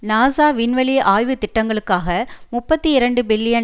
NASA விண்வெளி ஆய்வு திட்டங்களுக்காக முப்பத்தி இரண்டு பில்லியன்